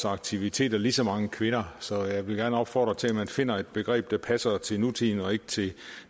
aktiviteter ligeså mange kvinder så jeg vil gerne opfordre til at man finder et begreb der passer til nutiden og ikke til